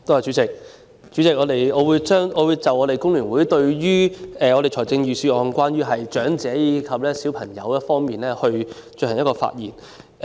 代理主席，我代表香港工會聯合會對財政預算案有關長者及小朋友的內容發表意見。